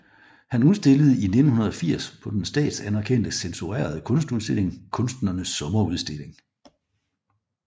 Han udstillede i 1980 på den statsanerkendte censurerede kunstudstilling Kunstnernes Sommerudstilling